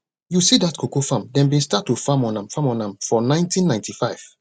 you see dat cocoa farm dem bin start to dey farm on am farm on am for nineteen ninety five